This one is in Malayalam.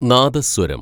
നാദസ്വരം